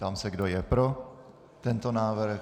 Ptám se, kdo je pro tento návrh.